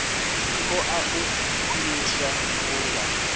i ṱoḓa u khwiniswa vhunga